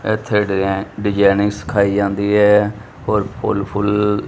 ਇਥੇ ਡਿਜਾਇਨਿੰਗ ਸਿਖਾਈ ਜਾਂਦੀ ਹੈ ਔਰ ਫੁੱਲ ਫੁੱਲ।